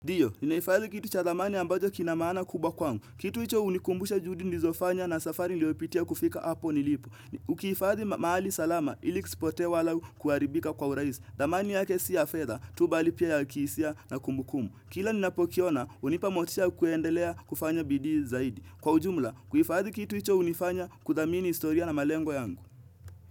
Ndio, inaifanya kitu cha thamani ambacho kina maana kubwa kwangu. Kitu hicho hunikumbusha juhudi nilizofanya na safari niliyopitia kufika hapo nilipo. Ukihifadhi mahali salama ili kisipote wala kuharibika kwa urahisi. Thamani yake sio ya fedha tu bali pia ya kihisia na kumbukumbu. Kila ninapokiona, hunipa motisha ya kuendelea kufanya bidi zaidi. Kwa ujumla, kuhifadhi kitu hicho hunifanya kuthamini historia na malengo yangu.